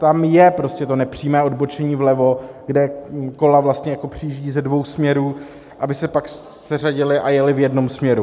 Tam je prostě to nepřímé odbočení vlevo, kde kola přijíždí ze dvou směrů, aby se pak seřadila a jela v jednom směru.